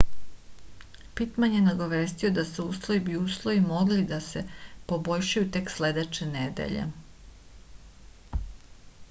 pitman je nagovestio da se uslovi bi uslovi mogli da se poboljšaju tek sledeće nedelje